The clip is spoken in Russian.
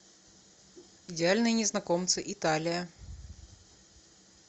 идеальные незнакомцы италия